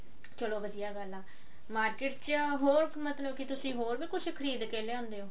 ਚਲੋ ਵਧੀਆ ਗੱਲ ਆ market ਚ ਹੋਰ ਮਤਲਬ ਕੀ ਤੁਸੀਂ ਹੋਰ ਵੀ ਕੁਵ੍ਹ ਖਰੀਦ ਕਿ ਲਿਆਉਂਦੇ ਹੋ